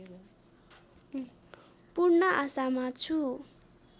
पूर्ण आशामा छु